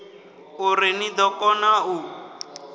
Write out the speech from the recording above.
uri ni ḓo kona u